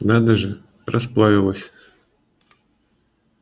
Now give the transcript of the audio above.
надо же расплавилась